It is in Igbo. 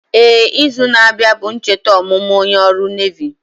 Éè, izu na abịa bụ ncheta ọmụmụ onye ọrụ Nevi